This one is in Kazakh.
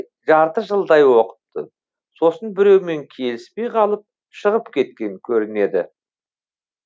жарты жылдай оқыпты сосын біреумен келіспей қалып шығып кеткен көрінеді